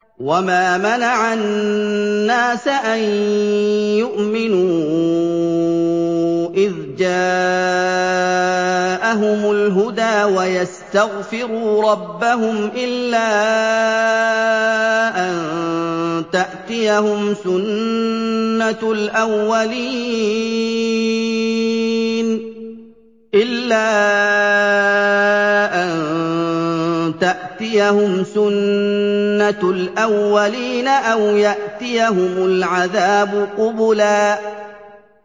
وَمَا مَنَعَ النَّاسَ أَن يُؤْمِنُوا إِذْ جَاءَهُمُ الْهُدَىٰ وَيَسْتَغْفِرُوا رَبَّهُمْ إِلَّا أَن تَأْتِيَهُمْ سُنَّةُ الْأَوَّلِينَ أَوْ يَأْتِيَهُمُ الْعَذَابُ قُبُلًا